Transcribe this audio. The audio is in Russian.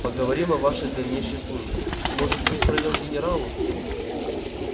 поговорим о вашей дальнейшей службе может быть пройдём к генералу